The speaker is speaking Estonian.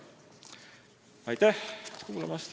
Aitäh kuulamast!